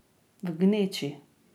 V gneči.